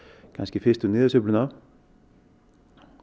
fyrstu niðursveifluna